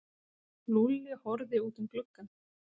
Lúlli horfði út um gluggann.